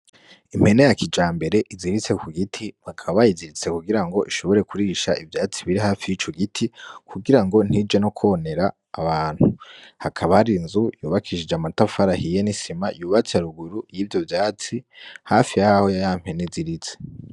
Impene yakija mbere iziritse ku giti bakababayiziritse kugira ngo ishobore kurisha ivyatsi biri hafi y'ico giti kugira ngo ntije no kwonera abantu hakabari inzu yubakishije amatafarahiye n'isima yubatse aruguru y'ivyo vyatsi hafi yhaho ya yampene izirize.